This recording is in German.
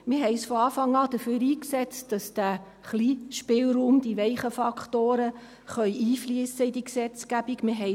Wir haben uns von Anfang an dafür eingesetzt, dass der kleine Spielraum, die weichen Faktoren in diese Gesetzgebung einfliessen können.